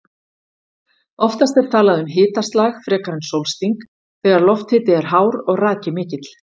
Oftast er talað um hitaslag frekar en sólsting þegar lofthiti er hár og raki mikill.